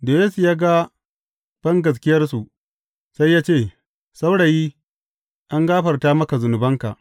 Da Yesu ya ga bangaskiyarsu, sai ya ce, Saurayi, an gafarta maka zunubanka.